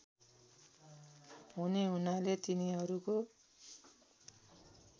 हुने हुनाले तिनीहरूको